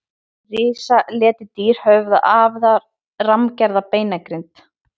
risaletidýr höfðu afar rammgerða beinagrind